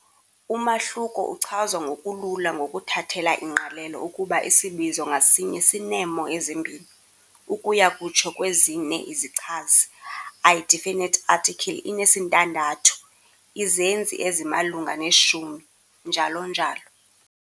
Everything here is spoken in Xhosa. Umahluko uchazwa ngokulula ngokuthathela ingqalelo ukuba isibizo ngasinye sineemo ezimbini, ukuya kutsho kwezine izichazi, i-definite article inesintandathu, izenzi ezimalunga neshumi, njl njl.